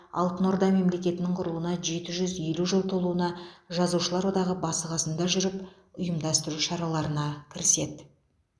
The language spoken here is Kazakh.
алтын орда мемлекетінің құрылуына жеті жүз елу жыл толуына жазушылар одағы басы қасында жүріп ұйымдастыру шараларына кіріседі